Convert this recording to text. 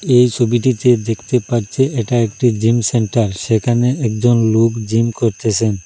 এই ছবিটিতে দেখতে পাচ্ছে এটা একটি জিম সেন্টার সেখানে একজন লোক জিম করতেসেন।